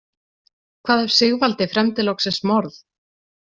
Hvað ef Sigvaldi fremdi loksins morð?